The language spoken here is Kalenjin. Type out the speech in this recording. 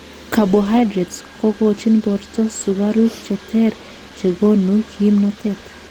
Carbohydrates kokochin borto sukaruk cheter chekonu kimnotet .